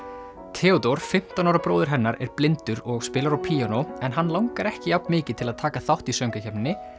Theódór fimmtán ára bróðir hennar er blindur og spilar á píanó en hann langar ekki jafn mikið til að taka þátt í söngvakeppninni